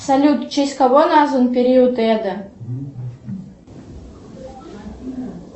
салют в честь кого назван период эда